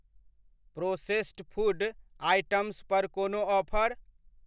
Processed food items पर कोनो offer?